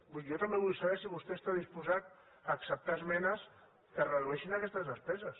vull dir jo també vull saber si vostè està disposat a acceptar esmenes que redueixin aquestes despeses